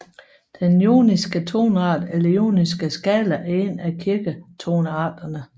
Den joniske toneart eller joniske skala er en af kirketonearterne